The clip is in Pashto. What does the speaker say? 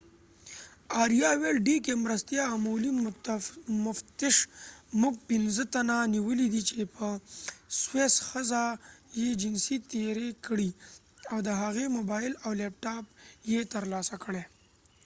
مرستیال عمومي مفتش dk آریا وویل موږ پنځه تنه نیولي دي چې په سویس ښځه یې جنسي تیری کړی او د هغې موبایل او لپټاپ یو ترلاسه کړی دی